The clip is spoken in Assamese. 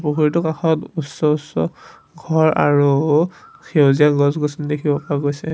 পুখুৰীটোৰ কাষত উচ্চ উচ্চ ঘৰ আৰু সেউজীয়া গছ গছনি দেখিব পোৱা গৈছে।